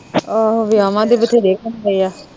ਆਹੋ ਵੇਆਵਾ ਦੇ ਵਥੇਰੇ ਆ